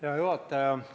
Hea juhataja!